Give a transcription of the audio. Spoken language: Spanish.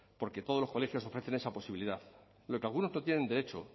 porque todos los colegios ofrecen esa posibilidad a lo que algunos no tienen derecho